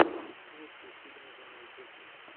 лучшие фильмы жанра детский